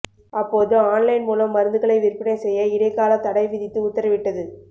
அப்போது online மூலம் மருந்துகளை விற்பனை செய்ய இடைக்காலத் தடை விதித்து உத்தரவிட்டது